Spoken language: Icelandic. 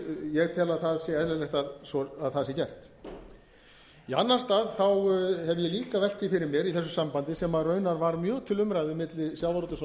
ég tel að það sé eðlilegt að það sé gert í annan stað hef ég líka velt því fyrir mér í þessu sambandi sem raunar var mjög til umræðu milli sjávarútvegs og